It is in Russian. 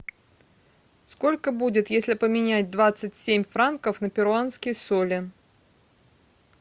сколько будет если поменять двадцать семь франков на перуанские соли